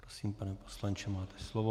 Prosím, pane poslanče, máte slovo.